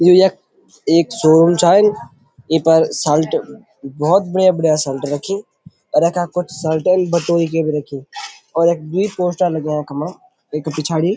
यु यख एक शोरूम छा ये पर सल्ट भोत बढ़िया बढ़िया सल्ट रखीं और यखा कुछ सल्ट बटोई की भी रखीं और यख द्वि पोस्टर लग्याँ वखमा एक पिछाड़ी --